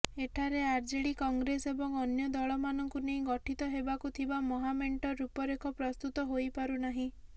ଏଠାରେ ଆର୍ଜେଡି କଂଗ୍ରେସ ଏବଂ ଅନ୍ୟ ଦଳମାନଙ୍କୁ ନେଇ ଗଠିତ ହେବାକୁ ଥିବା ମହାମେଣ୍ଟର ରୂପରେଖ ପ୍ରସ୍ତୁତ ହୋଇପାରୁନାହିଁ